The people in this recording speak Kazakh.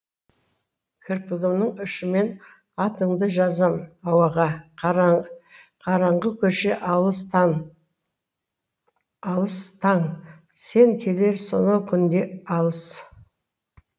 кірпігімнің ұшымен атыңды жазам ауаға қараңғы көше алыс таң сен келер сонау күн де алыс